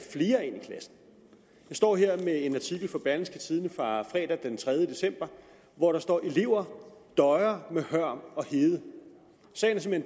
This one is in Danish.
står her med en artikel fra berlingske tidende fra fredag den tredje december hvor der står elever døjer med hørm og hede sagen er